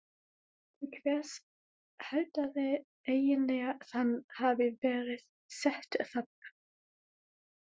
Til hvers haldiði eiginlega að hann hafi verið settur þarna?